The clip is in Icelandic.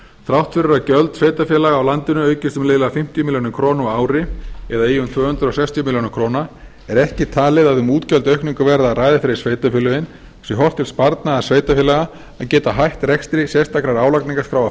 þrátt fyrir að gjöld sveitarfélaga á landinu aukist um liðlega fimmtíu milljónir króna ári eða í um tvö hundruð sextíu milljónir króna er ekki talið að um útgjaldaaukningu verði að ræða fyrir sveitarfélögin sé horft til sparnaðar sveitarfélaga að geta hætt rekstri sérstakrar álagningarskráa